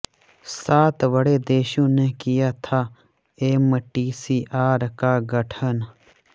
सात बड़े देशों ने किया था एमटीसीआर का गठन